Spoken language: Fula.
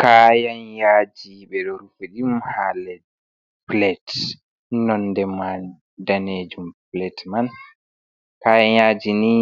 Kayan yaji, ɓeɗo rufi ɗum ha nder pilet, nonde mai danejum pilet man, kayan yaji ni